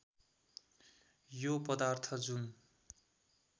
यो पदार्थ जुन